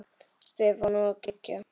Stefán og Gígja.